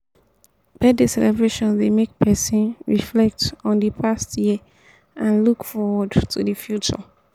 birthday celebration dey make pesin reflect on di past year and look forward to di future.